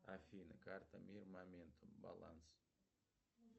афина карта мир моментум баланс